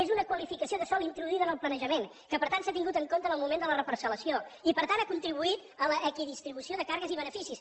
és una qualificació de sòl introduïda en el planejament que per tant s’ha tingut en compte en el moment de la reparcel·lació i per tant ha contribuït a l’equidistribució de càrregues i beneficis